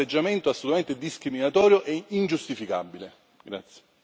Quindi un atteggiamento assolutamente discriminatorio e ingiustificabile.